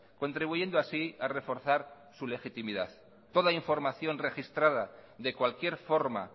contribuyendo así a reforzar su legitimidad toda información registrada de cualquier forma